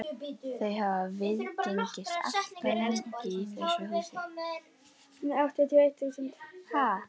Þau hafa viðgengist allt of lengi í þessu húsi.